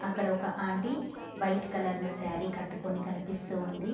అక్కడ ఒక aunty white colour లో సారి కట్టుకుని కనిపిస్తూ ఉంది.